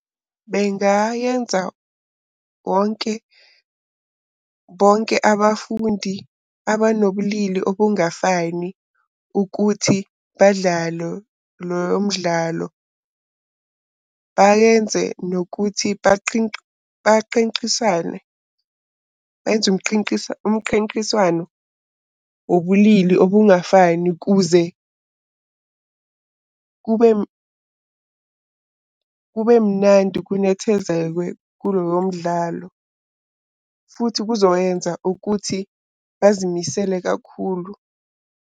Bengayenza bonke abafundi abanobulili obungafani ukuthi badlalo loyo mdlalo. Bayenze nokuthi umqiqiswano wobulili okungafani kuze kube mnandi kunethezekwe kulowo mdlalo. Futhi kuzoyenza ukuthi bazimisele kakhulu.